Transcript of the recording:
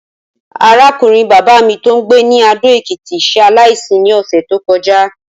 Arákùnrin bàbá mi tó ń gbé ní Adó-Ekìtì s̩e aláìsí ní ò̩sè̩ tó ko̩já